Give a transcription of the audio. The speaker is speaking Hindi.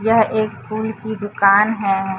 यह एक फूल की दुकान है।